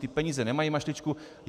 Ty peníze nemají mašličku.